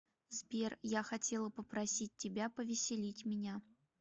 сбер я хотела попросить тебя повеселить меня